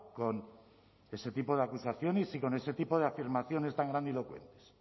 con ese tipo de acusaciones y con ese tipo de afirmaciones tan grandilocuentes